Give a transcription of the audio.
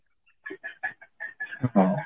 ହଁ